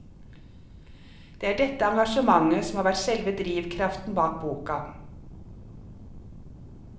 Det er dette engasjementet som har vært selve drivkraften bak boka.